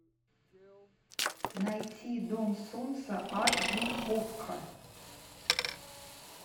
найти дом солнца аш ди окко